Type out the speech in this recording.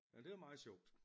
Ja det er da meget sjovt